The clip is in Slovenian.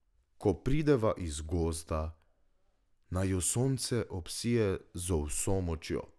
Ko prideva iz gozda, naju sonce obsije z vso močjo.